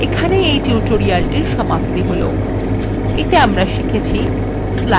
এখানেই এই tutorialটির সমাপ্তি হল এতে আমরা শিখেছি